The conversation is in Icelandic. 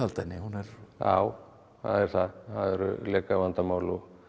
henni já það er það það eru lekavandamál og